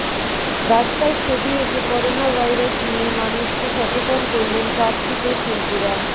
রাস্তায় ছবি এঁকে করোনাভাইরাস নিয়ে মানুষকে সচেতন করলেন কাকদ্বীপের শিল্পীরা